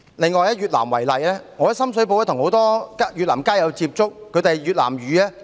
另一個例子是越南，我在深水埗曾與很多越南街友接觸，他們以越南語為母語。